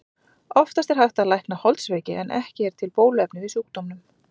Oftast er hægt að lækna holdsveiki en ekki er til bóluefni við sjúkdómnum.